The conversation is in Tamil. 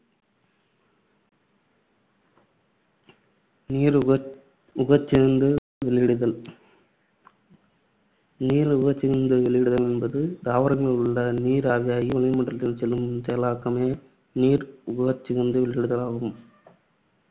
நீர் உட்~ உட்கசிந்து வெளியிடுதல் நீர் உட்கசிந்து வெளியிடுதல் என்பது தாவரங்களில் உள்ள நீர் ஆவியாகி வளிமண்டலத்திற்குச் செல்லும் செயலாக்கமே நீர் உட்கசிந்து வெளியிடுதல் ஆகும்.